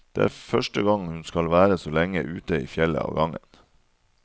Det er første gang hun skal være så lenge ute i fjellet av gangen.